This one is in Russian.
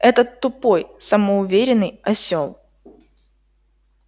этот тупой самоуверенный осёл